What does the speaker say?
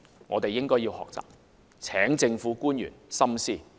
我們應該要學習，請政府官員深思。